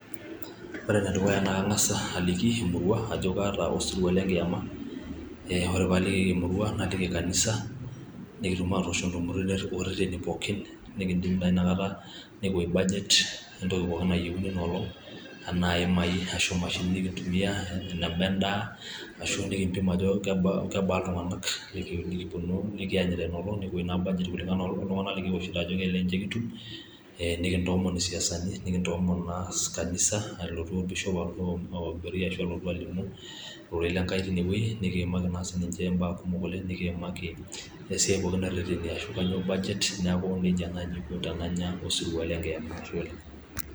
Ore enedukuya naa kang'as aliki emurua ajo kaata osirua le nkiama. Ore pee aliki emurua naliki kanisa nikitum atoosh intumoritin ololere pookin nikidip taa inakata nepik budget we entoki pooki nayieuni ina olong anaa ehemai ashu mashinini nikintumia, enaba endaa ashu nikimpim eneba iltung'anak likianyita ina olong nikiosh budget anaa iltung'anak ajo kelelek ninche kitum , nikintoomon isiasani, nikintoomon kanisa nalotu olbishop alotu aiburi, ashu elotu alimu ororei lenkai teine weji. Nikiimaki naa sii imbaa kumok oleng nikiimaki esiai pooki ashu kainyoo budget neaku neija ako tenanya osirua lenkiama.